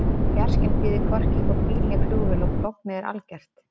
Fjarskinn býður hvorki upp á bíl né flugvél og lognið er algert.